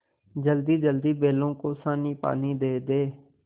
जल्दीजल्दी बैलों को सानीपानी दे दें